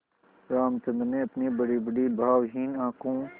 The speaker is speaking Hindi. रामचंद्र ने अपनी बड़ीबड़ी भावहीन आँखों